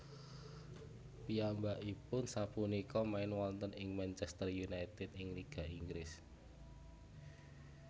Piyambakipun sapunika main wonten ing Manchéster United ing Liga Inggris